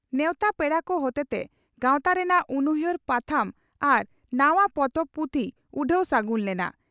ᱱᱮᱣᱛᱟ ᱯᱮᱲᱟ ᱠᱚ ᱦᱚᱛᱮᱛᱮ ᱜᱟᱣᱛᱟ ᱨᱮᱱᱟᱜ ᱩᱱᱩᱭᱦᱟᱹᱨ ᱯᱟᱛᱷᱟᱢ ᱟᱟᱨ ᱱᱟᱣᱟ ᱯᱚᱛᱚᱵ ᱯᱩᱛᱷᱤ ᱩᱰᱷᱟᱹᱣ ᱥᱟᱹᱜᱩᱱ ᱞᱮᱱᱟ ᱾